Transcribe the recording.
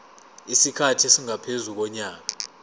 isikhathi esingaphezu konyaka